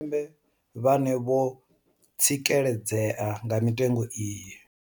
Tshipembe vhane vho tsikeledzea nga mitengo iyi.